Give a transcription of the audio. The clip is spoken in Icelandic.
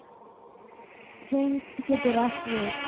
Tign getur átt við